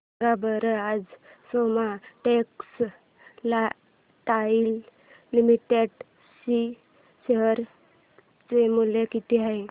सांगा बरं आज सोमा टेक्सटाइल लिमिटेड चे शेअर चे मूल्य किती आहे